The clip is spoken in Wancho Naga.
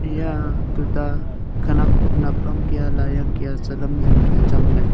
eya tuta khenak nap ang lai ang ley zing kya chang ley.